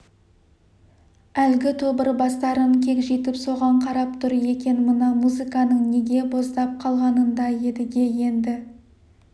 әлгі тобыр бастарын кегжитіп соған қарап тұр екен мына музыканың неге боздап қалғанын да едіге енді